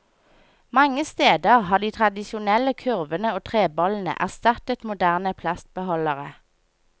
Mange steder har de tradisjonelle kurvene og trebollene erstattet moderne plastbeholdere.